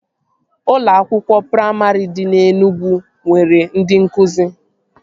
Ụlọ akwụkwọ praimarị dị na Enugwu nwere ndị nkụzi